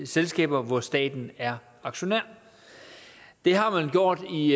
selskaber hvor staten er aktionær det har man gjort i